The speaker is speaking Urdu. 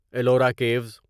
ایلورا کیوس